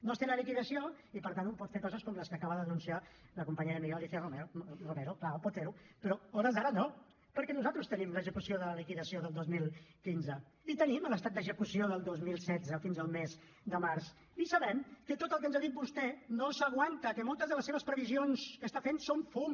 no es té la liquidació i per tant un pot fer coses com les que acaba de denunciar la companya i amiga alícia romero clar pot fer ho però a hores d’ara no perquè nosaltres tenim l’execució de la liquidació del dos mil quinze i tenim l’estat d’execució del dos mil setze fins al mes de març i sabem que tot el que ens ha dit vostè no s’aguanta que moltes de les seves previsions que està fent són fum